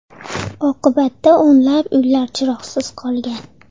Oqibatda o‘nlab uylar chiroqsiz qolgan.